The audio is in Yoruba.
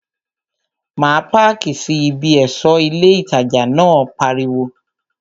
Má páàkì sí bí! ẹ̀ṣọ́ ilé ìtajà náà pariwo